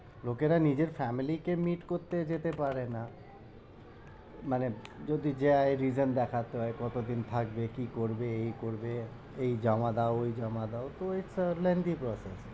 লোকেরা নিজের family কে meet করতে যেতে পারে না মানে যদি যায় reason দেখাতে হয় কত দিন থাকবে? কি করবে? এই করবে এই জমা দাও, ওই জমা দাও, তো এটা long ই process